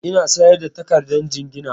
Eh, ina sayar da takardar jingina